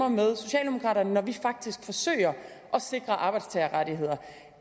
med socialdemokraterne når vi faktisk forsøger at sikre arbejdstagerrettigheder